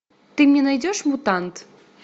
ты мне найдешь мутант